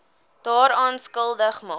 daaraan skuldig maak